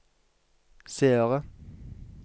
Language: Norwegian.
seere